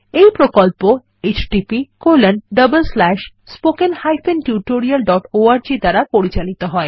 এই প্রকল্প httpspoken tutorialorg দ্বারা পরিচালিত হয়